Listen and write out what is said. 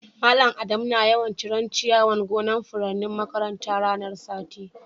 Mallam Adamu na yawan cire'n ciyawan gonan' furannin makarantan ranan sati.